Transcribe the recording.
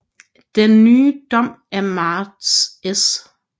Den ny Dom af Marts s